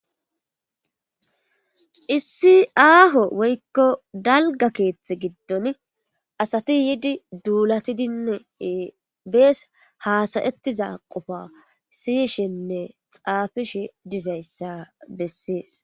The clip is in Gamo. Issi aaho woykko dalga keethte giddon asati yiidi duulatidinnee bees haasayettiza qofa siyishenne xaafishe dizayssa bessees